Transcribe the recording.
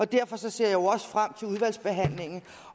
derfor ser jeg også frem til udvalgsbehandlingen